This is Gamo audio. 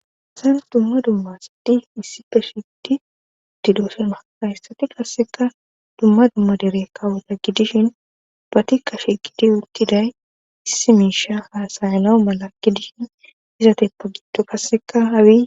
Hasan dumma dummasidi issi pe shidi didoosema hayssati qasseka dumma dumma dere kawota gidishin ba tikkashe giti uttiday issi miisha haasayanawu mala gidishin izateppo gitto qasseka hawi